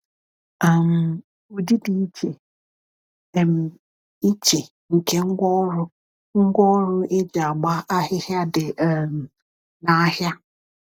um Ụdị dị iche um iche nke ngwaọrụ ngwaọrụ eji agba ahịhịa dị um n’ahịa.